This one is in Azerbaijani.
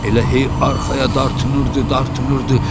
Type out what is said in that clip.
Elə hey arxaya dartınırdı, dartınırdı.